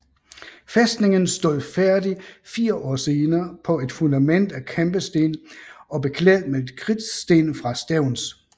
Fæstningen stod færdig fire år senere på et fundament af kampesten og beklædt med kridtsten fra Stevns